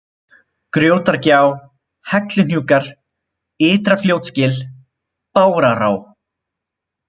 Grjótagjá, Helluhnúkar, Ytra-Fljótsgil, Bárará